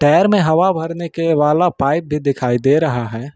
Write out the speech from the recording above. Tyre में हवा भरने के वाला पाइप भी दिखाई दे रहा है।